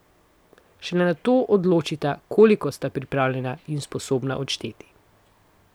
Šele nato določita, koliko sta pripravljena in sposobna odšteti.